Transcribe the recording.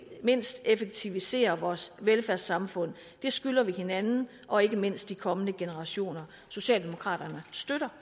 mindst effektivisere vores velfærdssamfund det skylder vi hinanden og ikke mindst de kommende generationer socialdemokraterne støtter